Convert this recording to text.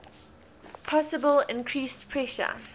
possible increased pressure